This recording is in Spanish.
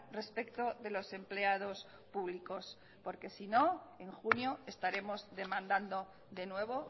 respecto de los empleados públicos porque si no en junio estaremos demandando de nuevo